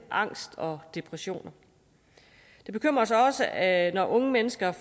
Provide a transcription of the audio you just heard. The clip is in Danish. angst og depressioner det bekymrer os også at unge mennesker